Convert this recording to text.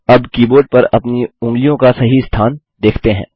अबअब keyboard पर अपनी उँगलियों का सही स्थान देखते हैं